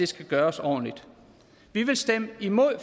skal gøres ordentligt vi vil stemme imod